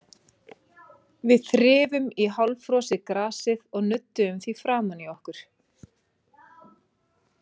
Við þrifum í hálffrosið grasið og nudduðum því framan í okkur.